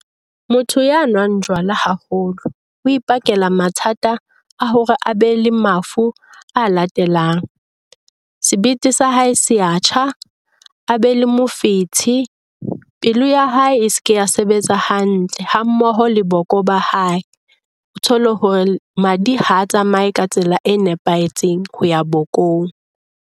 Motho ya nwang jwala haholo o ipakela mathata a hore a be le mafu a latelang, sebete sa hae se a tjha, a be le mofetshe, pelo ya ha e se ke ya sebetsa hantle, ha mmoho le boko ba hae. O thole hore madi ha tsamaye ka tsela e nepahetseng ho ya bokong.